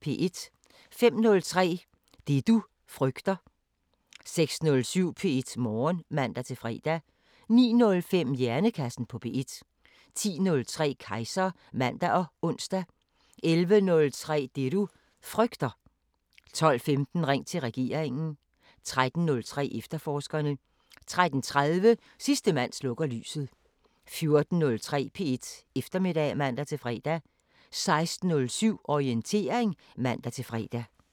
05:03: Det du frygter 06:07: P1 Morgen (man-fre) 09:05: Hjernekassen på P1 10:03: Kejser (man og ons) 11:03: Det du frygter 12:15: Ring til regeringen 13:03: Efterforskerne 13:30: Sidste mand slukker lyset 14:03: P1 Eftermiddag (man-fre) 16:07: Orientering (man-fre)